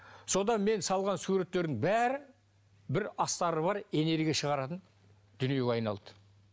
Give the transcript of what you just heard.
содан мен салған суреттердің бәрі бір астары бар энергия шығаратын дүниеге айналды